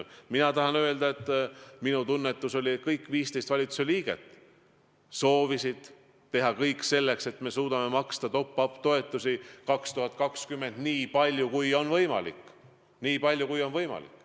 Mina tahan öelda, et minu tunnetus oli, et kõik 15 valitsuse liiget soovisid teha kõik selleks, et me suudame maksta top-up toetusi 2020. aastal nii palju, kui on vähegi võimalik.